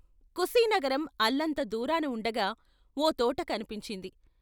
కుశీనగరం అల్లంత దూరాన ఉండగా ఓ తోట కన్పించింది.